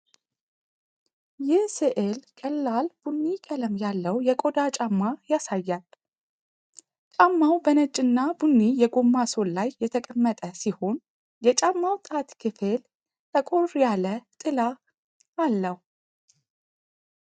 ይህ ሥዕል ቀላል ቡኒ ቀለም ያለው የቆዳ ጫማ ያሳያል። ጫማው በነጭና ቡኒ የጎማ ሶል ላይ የተቀመጠ ሲሆን፣ የጫማው ጣት ክፍል ጠቆር ያለ ጥላ አለው።